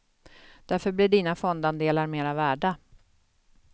Därför blir dina fondandelar mera värda.